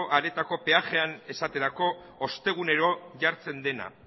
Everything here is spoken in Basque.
areetako peajean esaterako ostegunero jartzen dena